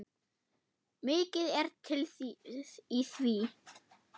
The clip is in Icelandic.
Mikið er til í því.